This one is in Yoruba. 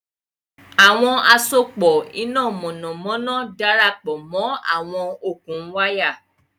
Àwọn àsopọ̀ iná mọ̀nàmọ́ná darapọ̀ mọ́ àwọn okùn wáyà